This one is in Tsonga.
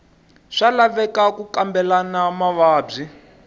swa laveka ku kambela mavabyi